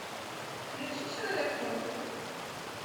включи человек паук